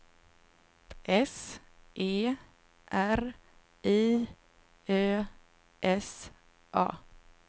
S E R I Ö S A